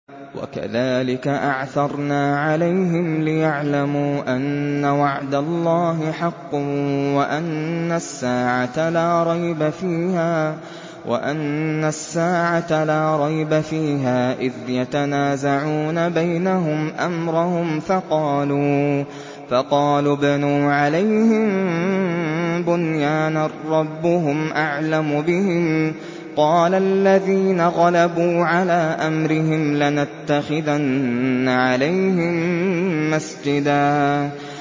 وَكَذَٰلِكَ أَعْثَرْنَا عَلَيْهِمْ لِيَعْلَمُوا أَنَّ وَعْدَ اللَّهِ حَقٌّ وَأَنَّ السَّاعَةَ لَا رَيْبَ فِيهَا إِذْ يَتَنَازَعُونَ بَيْنَهُمْ أَمْرَهُمْ ۖ فَقَالُوا ابْنُوا عَلَيْهِم بُنْيَانًا ۖ رَّبُّهُمْ أَعْلَمُ بِهِمْ ۚ قَالَ الَّذِينَ غَلَبُوا عَلَىٰ أَمْرِهِمْ لَنَتَّخِذَنَّ عَلَيْهِم مَّسْجِدًا